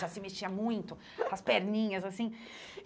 Já se mexia muito com as perninhas, assim.